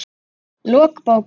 Lok bókar